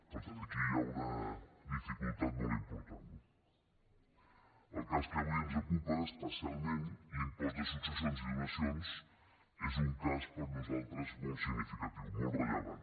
per tant aquí hi ha una dificultat molt important no el cas que avui ens ocupa especialment l’impost de successions i donacions és un cas per nosaltres molt significatiu molt rellevant